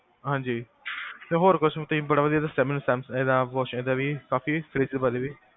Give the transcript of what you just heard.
ਹਾਂਜੀ ਤੇ ਹੋਰ ਕੁਛ ਤੁਸੀਂ ਬੜਾ ਵਦੀਆਂ ਦਸਿਆ ਮੈਨੂ, ਏਦਾ ਵੀ ਕਾਫੀ, fridge ਬਾਰੇ ਵੀ